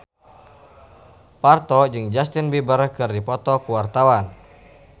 Parto jeung Justin Beiber keur dipoto ku wartawan